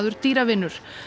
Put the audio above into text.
dýravinur